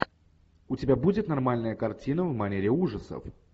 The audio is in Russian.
у тебя будет нормальная картина в манере ужасов